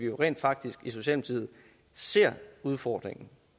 rent faktisk ser udfordringen